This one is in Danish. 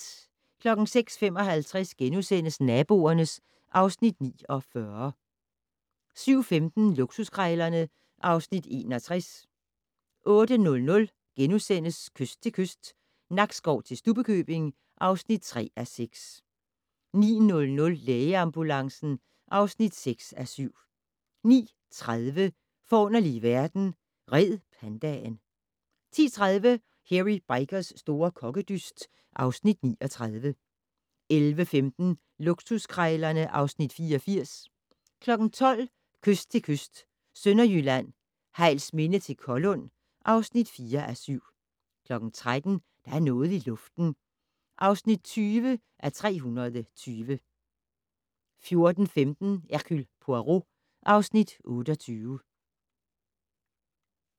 06:55: Naboerne (Afs. 49)* 07:15: Luksuskrejlerne (Afs. 61) 08:00: Kyst til kyst - Nakskov til Stubbekøbing (3:6)* 09:00: Lægeambulancen (6:7) 09:30: Forunderlige verden - Red pandaen 10:30: Hairy Bikers' store kokkedyst (Afs. 39) 11:15: Luksuskrejlerne (Afs. 84) 12:00: Kyst til kyst - Sønderjylland, Hejlsminde til Kollund (4:7) 13:00: Der er noget i luften (20:320) 14:15: Hercule Poirot (Afs. 28)